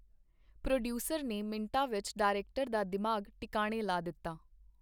Producer ਨੇ ਮਿੰਟਾਂ ਵਿਚ ਡਾਇਰੈਕਟਰ ਦਾ ਦਿਮਾਗ ਟਿਕਾਣੇ ਲਾ ਦਿੱਤਾ.